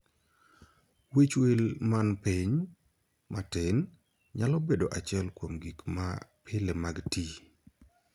Wich will man pin (matin) nyalo bedo achiel kuom gik ma pile mag tii.